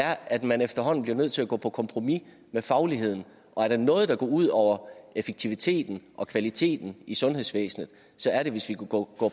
er at man efterhånden bliver nødt til at gå på kompromis med fagligheden og er der noget der går ud over effektiviteten og kvaliteten i sundhedsvæsenet så er det hvis vi går